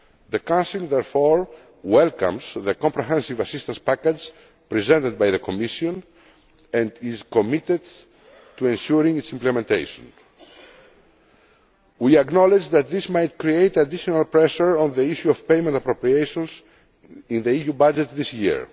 The Council therefore welcomes the comprehensive assistance package presented by the Commission and is committed to ensuring its implementation. We acknowledge that this might create additional pressure on the issue of payment appropriations in the EU budget this